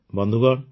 ବନ୍ଧୁଗଣ